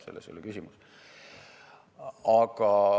Selles ei ole küsimus.